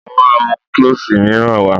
Mo máa mú klọ́ṣì míràn wá.